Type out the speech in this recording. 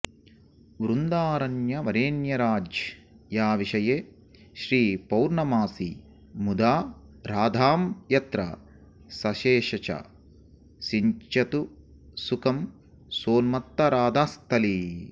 वृन्दारण्यवरेण्यराज्यविषये श्रीपौर्णमासी मुदा राधां यत्र सिषेच सिञ्चतु सुखं सोन्मत्तराधास्थली